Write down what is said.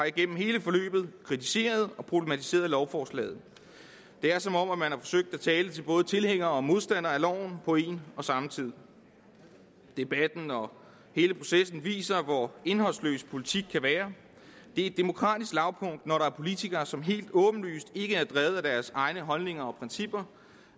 igennem hele forløbet kritiseret og problematiseret lovforslaget det er som om man har forsøgt at tale til både tilhængere og modstandere af loven på en og samme tid debatten og hele processen viser hvor indholdsløs politik kan være det er et demokratisk lavpunkt når der er politikere som helt åbenlyst ikke er drevet af deres egne holdninger og principper